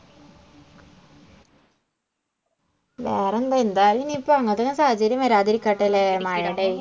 വേറെന്താ എന്തായാലും ഇനി ഇപ്പം അങ്ങനെയുള്ള സാഹചര്യം വരാതെ ഇരിക്കട്ടെ ഇല്ലേ മഴെടെ